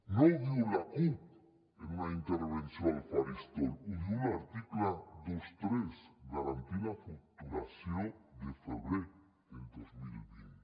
no ho diu la cup en una intervenció al faristol ho diu l’article vint tres garantir la facturació de febrer del dos mil vint